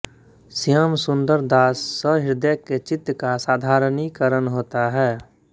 श्यामसुन्दर दास सहृदय के चित्त का साधारणीकरण होता है